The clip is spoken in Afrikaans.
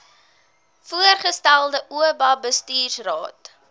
voorgestelde oba bestuursraad